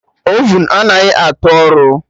Ovun anaghị atụ ọrụ